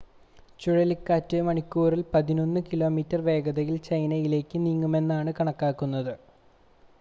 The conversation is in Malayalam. ചുഴലിക്കാറ്റ് മണിക്കൂറിൽ പതിനൊന്ന് കിലോമീറ്റർ വേഗതയിൽ ചൈനയിലേക്ക് നീങ്ങുമെന്നാണ് കണക്കാക്കുന്നത്